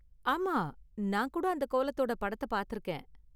ஆமா, நான் கூட அந்த கோலத்தோட படத்த பாத்திருக்கேன்.